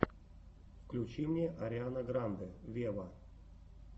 включи мне ариана гранде вево